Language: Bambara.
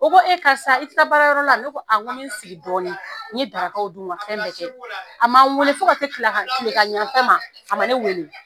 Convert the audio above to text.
O ko e karisa i ti taa baarakɛ yɔrɔ la, ne ko a, n be n sigi dɔɔnin , n ye darakaw dun ka fɛn bɛ kɛ. A ma n wele fo ka se tila kilegan yan fan ma, a ma ne wele.